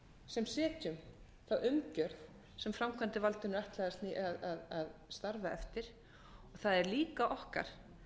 sem setjum þá umgjörð sem framkvæmdarvaldinu er ætlað að starfa eftir og það er líka okkar